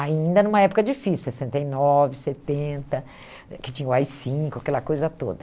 Ainda numa época difícil, sessenta, setenta, que tinha o á i - cinco, aquela coisa toda.